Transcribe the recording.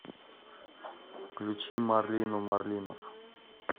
включи марлину марлинов